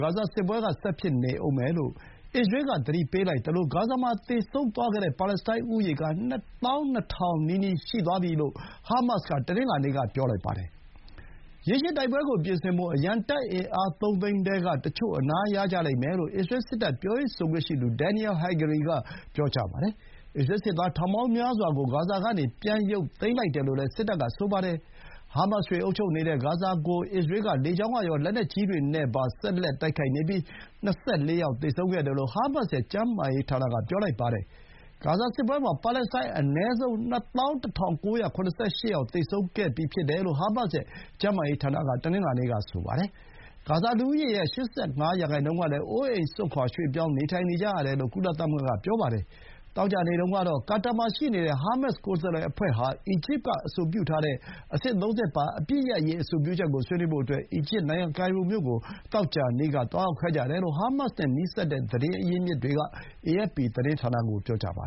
ဂါဇာစစ်ပွဲက ဆက်နေဦးမယ်လို့ အစ္စရေးက သတိပေးလိုက်သလို ဂါဇာမှာ သေဆုံးသွားတဲ့ ပါလက်စတိုင်းဦးရေက ၂,၂၀၀၀ နားနီးသွားပြီလို့ ဟာမတ်စ်က တနင်္လာနေ့က ပြောလိုက်ပါတယ်။ ရေရှည်တိုက်ပွဲကိုပြင်ဆင်ဖို့ အရံတပ်အင်အား သုံးသိန်းထဲက တချို့ အနားရကြလိမ့်မယ်လို့ အစ္စရေး စစ်တပ် ပြောရေးဆိုခွင့်ရှိသူ ဒင်န်နီယယ် ဟဂရီ (Daniel Hagari) က ပြောပါတယ်။ အစ္စရေး စစ်သား ထောင်ပေါင်းများစွာကို ဂါဇာကနေ ပြန်ရုပ်သိမ်းလိုက်တယ်လို့လည်း စစ်တပ်က ဆိုပါတယ်။ ဟာမတ်စ်တွေ အုပ်ချုပ်နေတဲ့ ဂါဇာကို အစ္စရေးက လေကြောင်းကရော၊ လက်နက်ကြီးတွေနဲ့ပါ ဆက်လက် တိုက်ခိုက်နေပြီး ၂၄ ယောက် သေဆုံးခဲ့တယ်လို့ ဟာမတ်စ်ရဲ့ကျန်းမာရေးဌာနက ဆိုပါတယ်။ ဟာမတ်စ်က အစ္စရေးကို အောက်တိုဘာ ၇ ရက်မှာ တိုက်ခဲ့ရာက ဖြစ်ပေါ် လာခဲ့တဲ့စစ်ပွဲမှာ ပါလက်စတိုင်း အနည်းဆုံး ၂၁,၉၇၈ ယောက် သေဆုံးခဲ့ပြီလို့ ဟာမတ်စ်ရဲ့ ကျန်းမာရေးဌာနက တနင်္လာနေ့က ပြောပါတယ်။ ဂါဇာလူဦးရေရဲ့ ၈၅ ရာနှုန်းကလည်း အိုးအိမ်စွန့်ခွါ ရွှေ့ပြောင်းနေထိုင်နေကြရတယ်လို့ ကုလသမဂ္ဂ က ဆိုပါတယ်။ သောကြာနေ့တုန်းကတော့ ကာတာမှာရှိနေတဲ့ ဟာမတ်စ် ကိုယ်စားလှယ်အဖွဲ့ဟာ အီဂျစ်က အဆိုပြုထားတဲ့ အဆင့် ၃ ဆင့်ပါ အပစ်ရပ်စဲရေး အဆိုပြုချက်ကို ဆွေးနွေးဖို့အတွက် အီဂျစ်နိုင်ငံ ကိုင်ရိုမြို့ကို သောကြာနေ့က သွားရောက်ခဲ့ကြတယ်လို့ ဟာမတ်စ်နဲ့ နီးစပ်တဲ့ သတင်းအရင်းအမြစ်တွေက အေအက်ဖ်ပီ သတင်းဌာနကို ပြောပါ